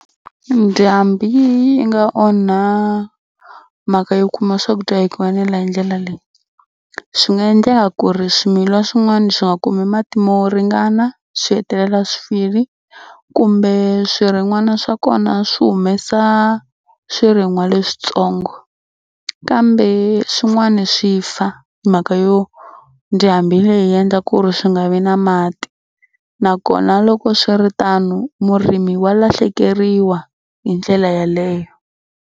Ndhambhi yi nga onha mhaka yo kuma swakudya hi ku enela hi ndlela leyi. Swi nga endleka ku ri swimilwa swin'wani swi nga kumi mati mo ringana swi hetelela swi file kumbe swirin'wana swa kona swi humesa swirin'wa leswitsongo kambe swin'wana swi fa hi mhaka yo ndhambhi leyi yi endla ku ri swi nga vi na mati nakona loko swi ri tano murimi wa lahlekeriwa hi ndlela yaleyo.